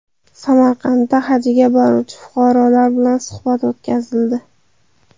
Samarqandda hajga boruvchi fuqarolar bilan suhbat o‘tkazildi.